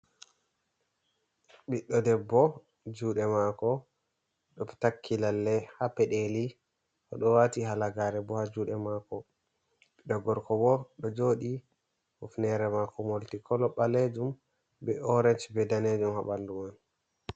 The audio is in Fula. Biɗɗo debbo, juuɗe mako o ɗo takki lalle ha peɗeli. O ɗo wati halagare bo ha juuɗe mako. Ɓiɗɗo gorko bo ɗo jooɗi, hufnere mako molti-kolo, ɓaleejum be orenj, be daneejum ha ɓandu man.